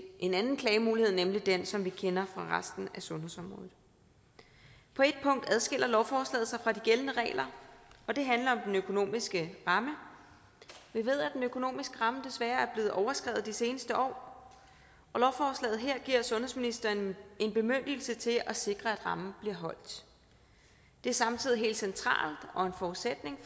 en anden klagemulighed nemlig den som vi kender fra resten af sundhedsområdet på et punkt adskiller lovforslaget sig fra de gældende regler og det handler om den økonomiske ramme vi ved at den økonomiske ramme desværre er blevet overskredet de seneste år og lovforslaget her giver sundhedsministeren en bemyndigelse til at sikre at rammen bliver holdt det er samtidig helt centralt og en forudsætning